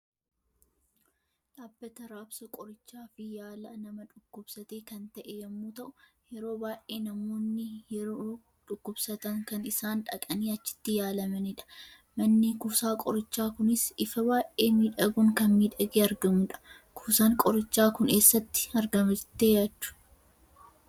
Dhaabbata raabsa qorichaa fi yaala nama dhukkubsate kan ta'e yemmu ta'u, yeroo baay'ee Namoonni yeroo dhukkubsatan kan isaan dhaqanii achiitti yaalamanidha. Manni kuusaa qorichaa kunis ifa baay'ee miidhaguun kan miidhage argamudha. Kuusan qoricha kun eessatti argama jettani yaaddu?